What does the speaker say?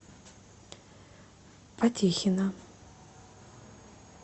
потехина